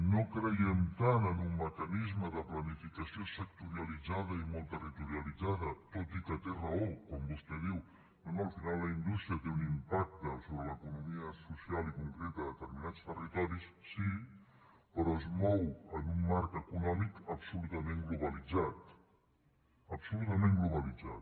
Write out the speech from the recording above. no creiem tant en un mecanisme de planificació sectorialitzada i molt territorialitzada tot i que té raó quan vostè diu no no al final la indústria té un impacte sobre l’economia social i concreta de determinats territoris sí però es mou en un marc econòmic absolutament globalitzat absolutament globalitzat